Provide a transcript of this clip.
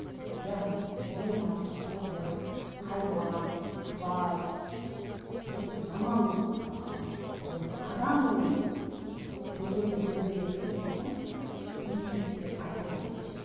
яғни биомасса тобыр хайуан тварь осы жаман ыыы ұғымды адам емес дегенді білдіретін ұғым личность деп айтылған